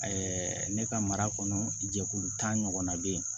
ne ka mara kɔnɔ jɛkulu ta ɲɔgɔnna bɛ yen